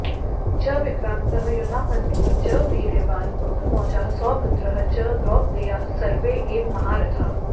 च विक्रान्तः युधामन्युः च वीर्यवान् उत्तमौजाः सौभद्रः च द्रौपदेयाः सर्वे एव महारथाः